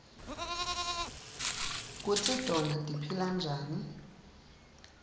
kutsi tona tiphila njani